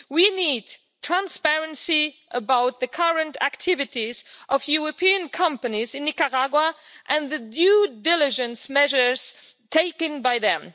We need transparency about the current activities of European companies in Nicaragua and the due diligence measures taken by them.